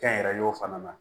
Kɛnyɛrɛyew fana ma